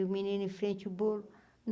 E o menino em frente ao bolo.